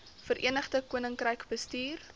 verenigde koninkryk bestuur